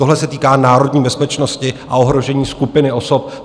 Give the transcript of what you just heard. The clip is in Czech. Tohle se týká národní bezpečnosti a ohrožení skupiny osob.